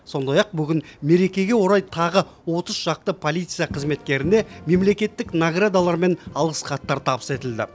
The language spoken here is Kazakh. сондай ақ бүгін мерекеге орай тағы отыз шақты полиция қызметкеріне мемлекеттік наградалар мен алғыс хаттар табыс етілді